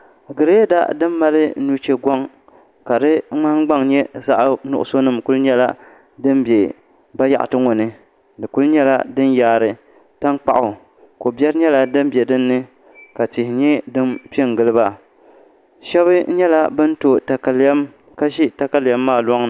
Girɛda din mali nuchɛ goŋ ka di nahangbaŋ nyɛ zaɣ dozim kuli nyɛla din bɛ bayaɣati ŋo ni di kuli nyɛla din yaari tankpaɣu ko biɛri nyɛla din bɛ dinni ka tihi nyɛ din piɛ n giliba shab nyɛla bin to katalɛm ka ʒɛ katalɛm maa gbunni